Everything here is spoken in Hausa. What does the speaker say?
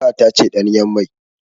Za a tace ɗanyen mai.